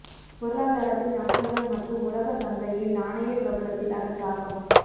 பொருளாதாரத்தின் அம்சங்கள் மற்றும் உலக சந்தையில் நாணய பிரபலத்தில் அதன் தாக்கம்